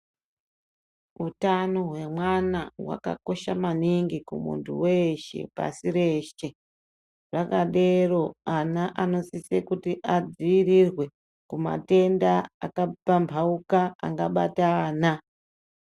Utano hwemwana hwakakosha maningi kumuntu weshe pasi reshe, zvakadero ana anosise kuti adziirirwe kumatenda akapambauka angabata ana.